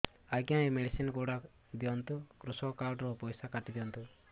ଆଜ୍ଞା ଏ ମେଡିସିନ ଗୁଡା ଦିଅନ୍ତୁ କୃଷକ କାର୍ଡ ରୁ ପଇସା କାଟିଦିଅନ୍ତୁ